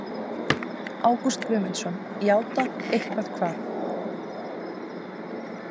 Ágúst Guðmundsson: Játað eitthvað hvað?